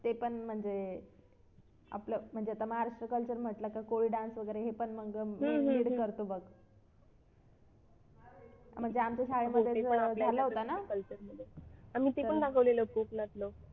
ते पण म्हणजे आपला म्हणजे आता महाराष्ट्र culture म्हटलं तर कोळी dance वगैरे हे पण मग करतो बघ म्हणजे आमच्या शाळेमध्येच झाला होता ना